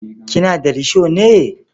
Kina da risho ne?